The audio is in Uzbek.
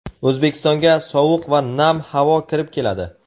O‘zbekistonga sovuq va nam havo kirib keladi.